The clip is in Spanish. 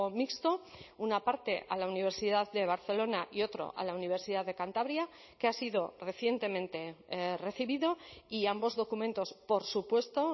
mixto una parte a la universidad de barcelona y otro a la universidad de cantabria que ha sido recientemente recibido y ambos documentos por supuesto